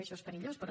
això és perillós però